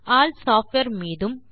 all software மீதும்